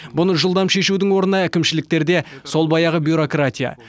бұны жылдам шешудің орнына әкімшіліктерде сол баяғы бюрократия